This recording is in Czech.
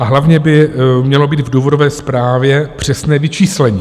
A hlavně by mělo být v důvodové zprávě přesné vyčíslení.